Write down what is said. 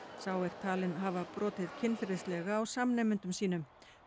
sá er talinn hafa brotið kynferðislega á samnemendum sínum